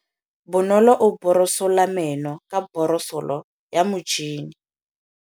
Bonolô o borosola meno ka borosolo ya motšhine.